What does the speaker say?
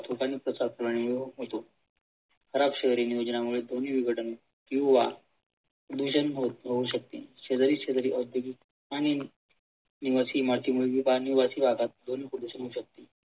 ध्वनी विघटन किंवा ध्वनी प्रदूषण होऊ शकते. शेजारी शेजारी औद्योगिक आणि राहतात ध्वनी प्रदूषण होऊ शकते